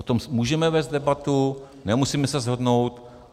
O tom můžeme vést debatu, nemusíme se shodnout.